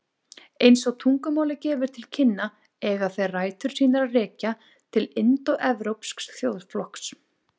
Eins og tungumálið gefur til kynna eiga þeir rætur sínar að rekja til indóevrópsks þjóðflokks.